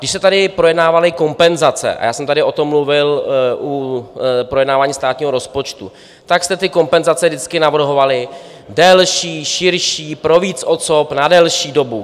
Když se tady projednávaly kompenzace - a já jsem tady o tom mluvil u projednávání státního rozpočtu - tak jste ty kompenzace vždycky navrhovali delší, širší, pro víc osob, na delší dobu.